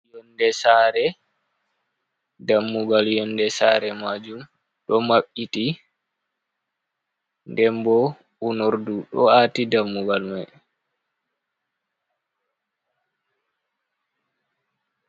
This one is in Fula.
Yonde sare dammugal yonde sare majum ɗo maɓɓiiti dembo unordu do aati dammugal mai.